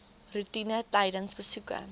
roetine tydens besoeke